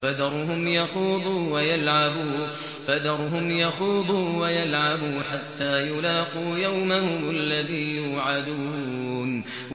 فَذَرْهُمْ يَخُوضُوا وَيَلْعَبُوا حَتَّىٰ يُلَاقُوا يَوْمَهُمُ الَّذِي يُوعَدُونَ